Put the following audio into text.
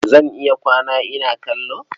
Zan iya kwana ina kallo.